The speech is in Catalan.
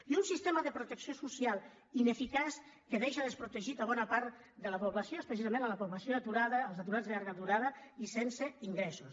i un sistema de protecció social ineficaç que deixa desprotegida bona part de la població especialment la població aturada els aturats de llarga durada i sense ingressos